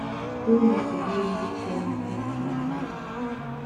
стоимость обмена биткоина в русские рубли